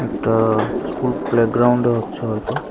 এটা school play গ্রাউন্ডে হচ্ছে হয়তো।